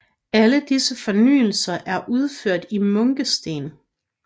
Alle disse fornyelser er udført i munkesten